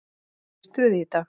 Ég er í stuði í dag.